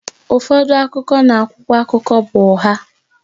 Ụfọdụ akụkọ na akwụkwọ akụkọ bụ ụgha